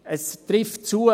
Es trifft zu: